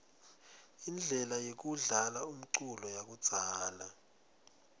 inblela yekudlala umculo yakudzala